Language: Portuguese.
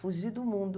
Fugi do mundo.